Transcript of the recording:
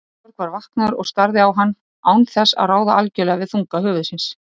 Georg var vaknaður og starði á hann án þess að ráða algjörlega við þunga höfuðsins.